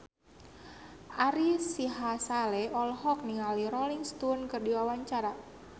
Ari Sihasale olohok ningali Rolling Stone keur diwawancara